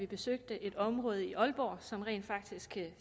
besøgte et område i aalborg som rent faktisk